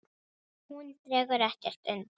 Hún dregur ekkert undan.